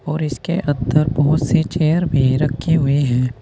और इसके अंदर बहुत से चेयर भी रखे हुए हैं।